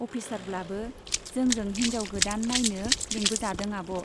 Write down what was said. अफिसारब्लाबो जोंजों हिन्जाव गोदान नाइनो लेंबोजादों आब'।